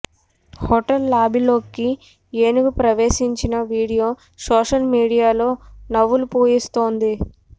hotel లాబీలోకి ఏనుగు ప్రవేశించిన వీడియో సోషల్ మీడియాలో నవ్వులు పూయిస్తోంది